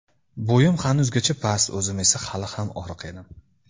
Bo‘yim hanuzgacha past, o‘zim esa hali ham oriq edim.